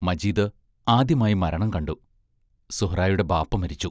മജീദ് ആദ്യമായി മരണം കണ്ടു; സുഹറായുടെ ബാപ്പ മരിച്ചു.